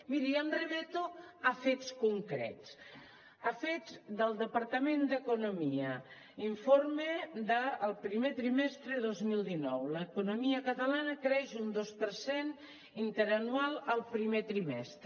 miri jo em remeto a fets concrets a fets del departament d’economia informe del primer trimestre dos mil dinou l’economia catalana creix un dos per cent interanual el primer trimestre